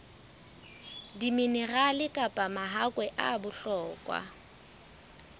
diminerale kapa mahakwe a bohlokwa